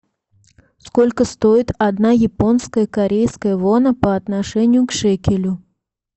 сколько стоит одна японская корейская вона по отношению к шекелю